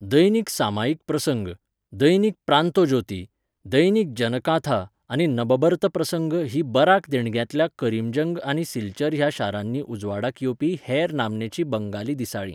दैनिक सामायिक प्रसंग, दैनिक प्रांतॉज्योती, दैनिक जनकांथा आनी नबबर्त प्रसंग हीं बराक देगणांतल्या करीमगंज आनी सिलचर ह्या शारांनी उजवाडाक येवपी हेर नामनेचीं बंगाली दिसाळीं.